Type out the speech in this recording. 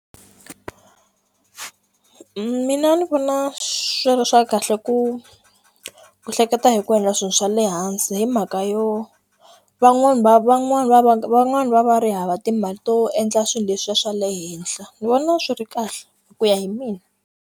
Mina ni vona swi ri swa kahle ku hleketa hi ku endla swilo swa le hansi hi mhaka yo van'wani va van'wani va va van'wani va va ri hava timali to endla swilo leswiya swa le henhla ni vona swi ri kahle ku ya hi mina.